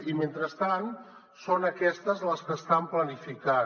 i mentrestant són aquestes les que estan planificant